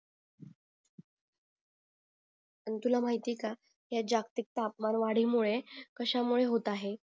अन तुला माहिते का ह्या जागतिक तापमान वाडी मुळे कशाला मुळे होत आहे